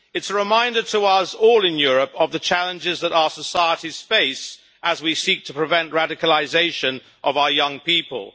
It is a reminder to us all in Europe of the challenges that our societies face as we seek to prevent radicalisation of our young people.